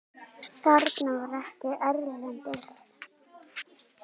Það var ekkert erlendis.